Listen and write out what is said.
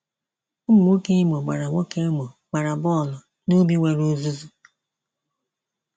Ụmụ nwoke Imo gbara nwoke Imo gbara bọọlụ n'ubi nwere uzuzu.